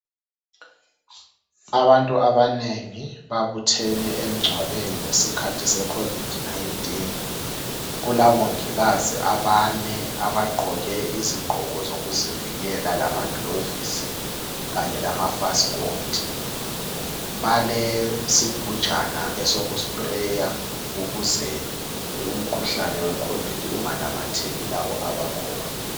Abantu abanengi babuthene emngcwabeni ngesikhathi se COVID-19. Kulabongikazi abane abagqoke izigqoko zokuzivikela lamagilavisi Kanye lamafasikoti. Balesigijana esoku sprayer ukuze umkhuhlane we COVID- unganamatheli labo abakhona.